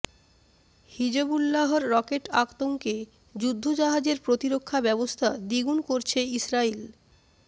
হিজবুল্লাহর rocket আতঙ্কে যুদ্ধজাহাজের প্রতিরক্ষা ব্যবস্থা দ্বিগুণ করছে ইসরাইল